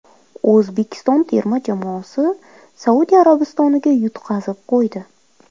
O‘zbekiston terma jamoasi Saudiya Arabistoniga yutqazib qo‘ydi .